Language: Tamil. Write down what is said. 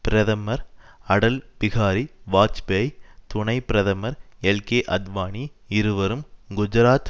பிரதமர் அடல் பிஹாரி வாஜ்பேயி துணை பிரதமர் எல்கேஅத்வானி இருவரும் குஜராத்